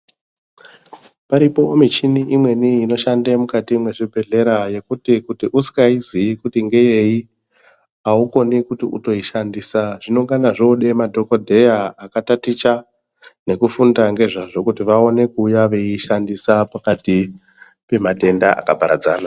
Paripo michini imweni inoshande mukati mwezvibhehlera yekuti kuti usikaiziyi kuti ngeyei aukoni kuti utoishandisa zvinongana zvoode madhogodheya akataticha ngezvazvo kuti vaone kuuya veiishandisa pakati pematenda akaparadzana.